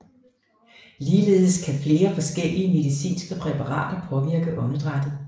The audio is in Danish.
Ligeledes kan flere forskellige medicinske præparater påvirke åndedrættet